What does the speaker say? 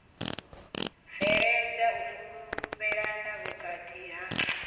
bveledza u fhulufhelana vhukati ha